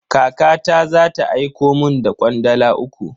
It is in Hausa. Kakata za ta aiko mun da kwandala uku.